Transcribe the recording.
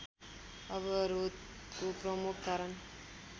अवरोधको प्रमुख कारण